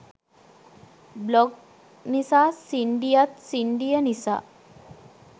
blog නිසා සින්ඩියත් සින්ඩිය නිසා